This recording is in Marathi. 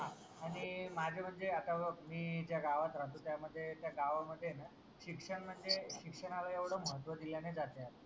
आणि माझ्या म्हणजे आत्ता बघ मी ज्या गावात राहतो त्यामध्ये त्या गावामध्ये ये ना शिक्षण म्हणजे शिक्षणाला एवढं महत्व दिल्या नाही जात ना.